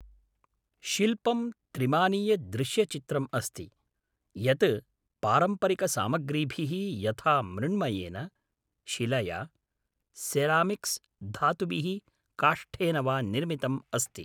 शिल्पं त्रिमानीयदृश्यचित्रम् अस्ति, यत् पारम्परिकसामग्रीभिः यथा मृण्मयेन, शिलया, सेरामिक्स्, धातुभिः, काष्ठेन वा निर्मितम् अस्ति।